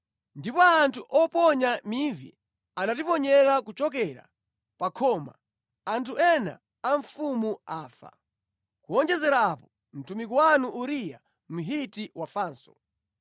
Ndipo anthu oponya mivi anatiponyera kuchokera pa khoma, anthu ena a mfumu afa. Kuwonjezera apo, mtumiki wanu Uriya Mhiti wafanso.”